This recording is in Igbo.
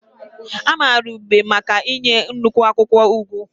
A maara Ugeb maka inye nnukwu akwụkwọ ugu.